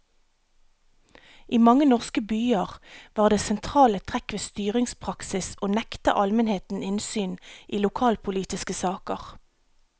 I mange norske byer var det sentrale trekk ved styringspraksis å nekte almenheten innsyn i lokalpolitiske saker.